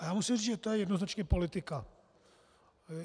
A já musím říct, že to je jednoznačně politika.